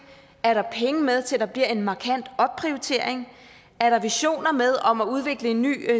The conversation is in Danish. er der penge med til at der bliver en markant opprioritering er der visioner med om at udvikle en ny